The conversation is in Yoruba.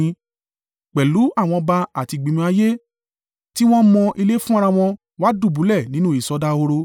pẹ̀lú àwọn ọba àti ìgbìmọ̀ ayé tí wọ́n mọ ilé fún ara wọn wá dùbúlẹ̀ nínú ìsọdahoro.